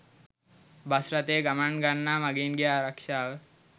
bus රථයේ ගමන් ගන්නා මගීන්ගේ ආරක්ෂාව